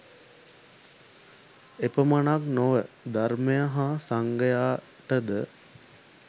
එපමණක් නොව ධර්මය හා සංඝයාටද